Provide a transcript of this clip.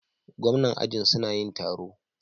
Gwamnanin ajin suna yin taro.